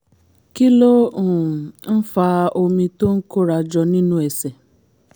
kí ló um ń fa omi tó ń kóra jọ nínú ẹsẹ̀?